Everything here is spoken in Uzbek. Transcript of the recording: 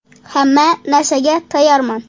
Hamma narsaga tayyorman.